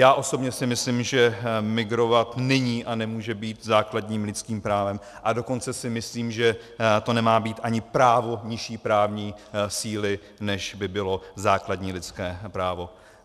Já osobně si myslím, že migrovat není a nemůže být základním lidským právem, a dokonce si myslím, že to nemá být ani právo nižší právní síly, než by bylo základní lidské právo.